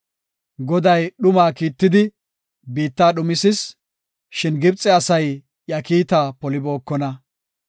Goday dhumaa kiittidi, biitta dhumisis; shin Gibxe asay iya kiita polibookona.